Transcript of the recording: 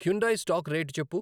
Hyundai stock rate చెప్పు